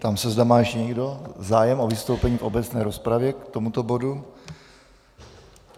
Ptám se, zda má ještě někdo zájem o vystoupení v obecné rozpravě k tomuto bodu.